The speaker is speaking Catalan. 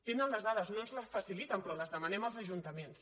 tenen les dades no ens les faciliten però les demanem als ajuntaments